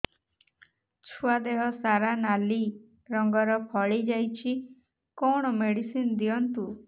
ଛୁଆ ଦେହ ସାରା ନାଲି ରଙ୍ଗର ଫଳି ଯାଇଛି କଣ ମେଡିସିନ ଦିଅନ୍ତୁ